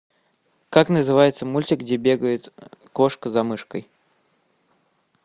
как называется мультик где бегает кошка за мышкой